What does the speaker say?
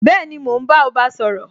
Bẹẹni, mo ń bá ọba sọ̀rọ̀